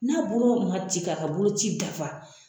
N'a bolo man ci k'a ka boloci dafa